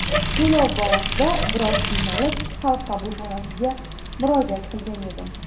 To‘lov borasida biroz qiynalib, xalq qabulxonasiga murojaat qilgan edim.